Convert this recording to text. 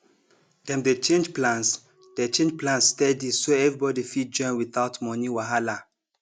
dem dey change plans dey change plans steady so everybody fit join without money wahala